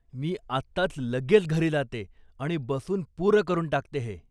मी आत्ताच लगेच घरी जाते आणि बसून पुरं करून टाकते हे.